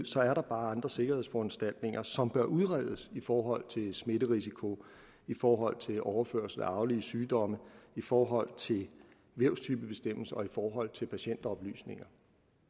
så er andre sikkerhedsforanstaltninger som bør udredes i forhold til smitterisiko i forhold til overførsel af arvelige sygdomme i forhold til vævstypebestemmelse og i forhold til patientoplysninger